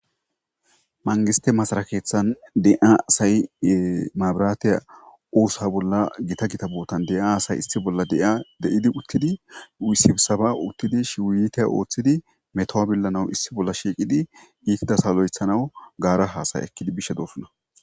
Mangiste masarakeethan de7a asayi maabiratiya uusa bolla gita gita bootan de7a asay issi bolla dei de7idi uttidi wusibsaba uttidi shiwuyite ooththidi metowabillanaw issi bolla shiiqidi giikidasalo7ethanawu gaara haasaya ekkidi bishe doofunna.